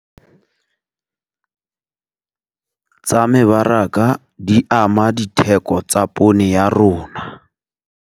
Tsa mebaraka di ama ditheko tsa poone ya rona.